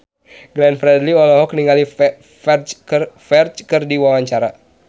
Glenn Fredly olohok ningali Ferdge keur diwawancara